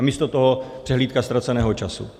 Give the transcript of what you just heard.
A místo toho přehlídka ztraceného času.